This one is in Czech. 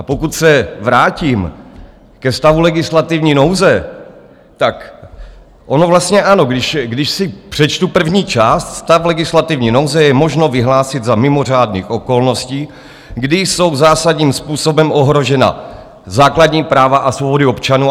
A pokud se vrátím ke stavu legislativní nouze, tak ono vlastně ano, když si přečtu první část: stav legislativní nouze je možno vyhlásit za mimořádných okolností, kdy jsou zásadním způsobem ohrožena základní práva a svobody občanů...